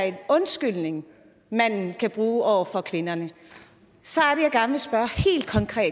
en undskyldning mændene kan bruge over for kvinderne så